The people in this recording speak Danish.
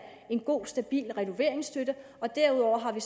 en god stabil renoveringsstøtte og derudover har vi